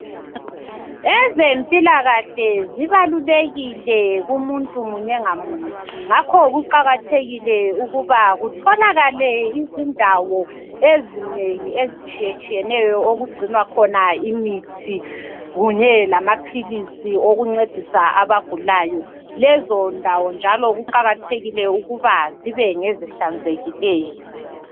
Ezempilakahle zibalulekile kumuntu munye ngamunye ngakho kuqakathekile ukuba kutholakale izindawo ezinengi ezitshiyetshiyeneyo okugcinwa khona imithi kunye lamapilisi okuncedisa abagulayo. Lezo ndawo njalo kuqakathekile ukuba zibe ngezihlanzekileyo.